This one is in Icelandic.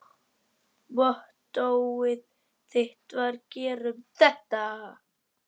Mottóið þitt var: Gerum þetta!